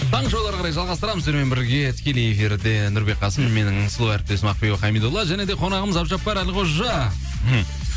таңғы шоуды әрі қарай жалғастырамыз сіздермен бірге тікелей эфирде нұрбек қасым менің сұлу әріптесім ақбибі хамидолла және де қонағымыз әбдіжаппар әлқожа мхм